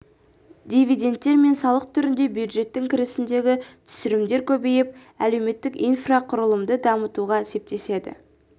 дивидендтер мен салық түрінде бюджеттің кірісіндегі түсімдер көбейіп әлеуметтік инфрақұрылымды дамытуға септеседі